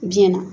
Biyɛn na